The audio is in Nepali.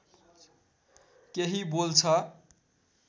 केही बोल्छ